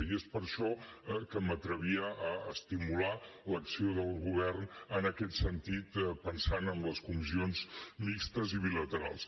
i és per això que m’atrevia a estimular l’acció del govern en aquest sentit pensant en les comissions mixtes i bilaterals